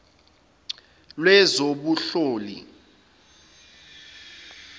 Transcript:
lwezobunhloli